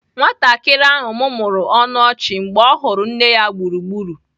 Nwatakịrị ahụ mụmụrụ ọnụ ọchị mgbe ọ hụrụ nne ya gburugburu.